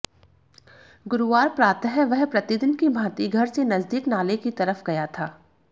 गुरुवार प्रातः वह प्रतिदिन की भांति घर से नजदीक नाले की तरफ गया था